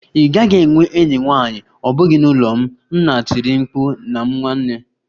Ị gaghị enwe enyi nwanyị, ọ bụghị n'ụlọ m! Nna tiri mkpu na m nwanne